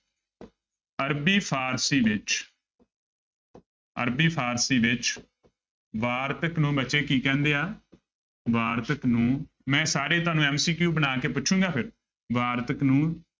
ਅਰਬੀ ਫਾਰਸ਼ੀ ਵਿੱਚ ਅਰਬੀ ਫ਼ਾਰਸ਼ੀ ਵਿੱਚ ਵਾਰਤਕ ਨੂੰ ਬੱਚੇ ਕੀ ਕਹਿੰਦੇ ਆ ਵਾਰਤਕ ਨੂੰ ਮੈਂ ਸਾਰੇ ਤੁਹਾਨੂੰ MCQ ਬਣਾ ਕੇ ਪੁੱਛਾਂਗਾ ਫਿਰ, ਵਾਰਤਕ ਨੂੰ